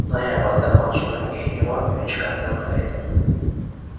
Noyabrda mavsumning eng yomon o‘yinchilardan biri edim.